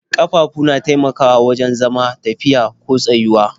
Ƙafafu na taimakawa wajen zama, tafiya ko tsayuwa.